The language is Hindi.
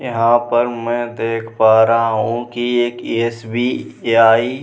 यहाँ पर मै देख पा रहा हूँ की एक एस.बी. आई --